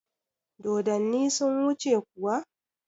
Dodonni sun wuce kuwa?